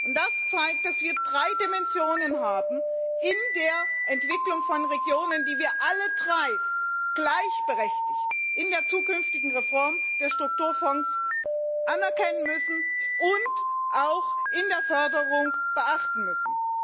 Und das zeigt, dass wir drei Dimensionen haben in der Entwicklung von Regionen, die wir alle drei gleichberechtigt in der zukünftigen Reform der Strukturfonds anerkennen müssen und auch in der Förderung beachten müssen.